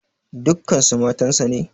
Dukkansu matansa ne?